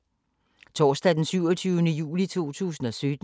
Torsdag d. 27. juli 2017